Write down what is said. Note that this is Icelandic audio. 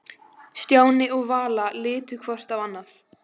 Stjáni og Vala litu hvort á annað.